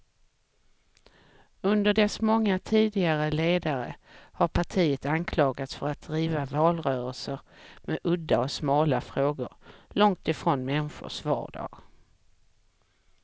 Under dess många tidigare ledare har partiet anklagats för att driva valrörelser med udda och smala frågor, långt från människors vardag.